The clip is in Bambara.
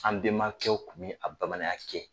An bɛmakɛw kun bɛ a bamananya kɛ.